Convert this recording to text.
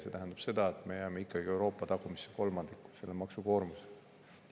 See tähendab seda, et me jääme ikkagi Euroopa tagumisse kolmandikku selle maksukoormusega.